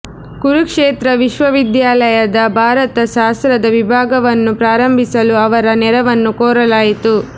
ಕುರುಕ್ಷೇತ್ರ ವಿಶ್ವವಿದ್ಯಾಲಯದ ಭಾರತ ಶಾಸ್ತ್ರದ ವಿಭಾಗವನ್ನು ಪ್ರಾರಂಭಿಸಲು ಅವರ ನೆರವನ್ನು ಕೋರಲಾಯಿತು